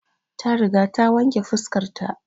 Ta riga ta wanke fuskar ta